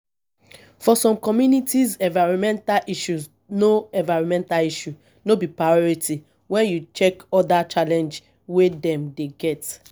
for some communities environmental issue no environmental issue no be priority when you check oda challenge wey dem dey get